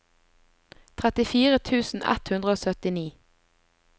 trettifire tusen ett hundre og syttini